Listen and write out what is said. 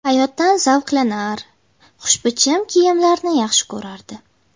Hayotdan zavqlanar, xushbichim kiyimlarni yaxshi ko‘rardi.